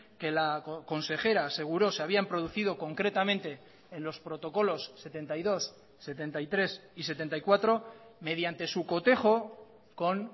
que la consejera aseguró se habían producido concretamente en los protocolos setenta y dos setenta y tres y setenta y cuatro mediante su cotejo con